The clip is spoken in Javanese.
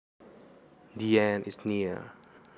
The end is near